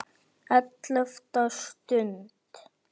ELLEFTA STUND